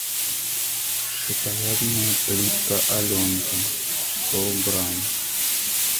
шоколадная плитка аленка сто грамм